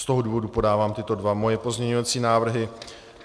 Z toho důvodu podávám tyto dva svoje pozměňovací návrhy.